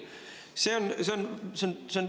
" See on, see on …